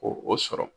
Ko o sɔrɔ